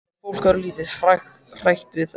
Er fólk örlítið hrætt við þetta?